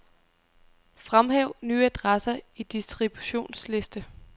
Fremhæv nye adresser i distributionsliste.